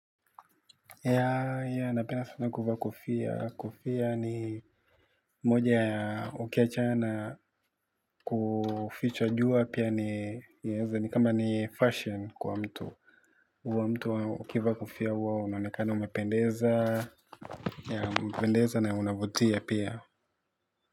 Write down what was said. Yea, yea, napenda sana kuvaa kofia. Kofia ni moja ya ukiachana na kufichwa jua pia ni yaeza ni kama ni fashion kwa mtu. Huwa mtu ukivaa kofia huwa unaonekana umependeza, yea umependeza na unavutia pia.